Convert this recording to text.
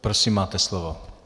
Prosím máte slovo.